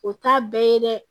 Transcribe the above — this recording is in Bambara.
O t'a bɛɛ ye dɛ